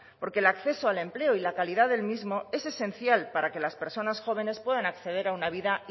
porque el acceso al empleo y la calidad del mismo es esencial para que las personas jóvenes puedan acceder a una vida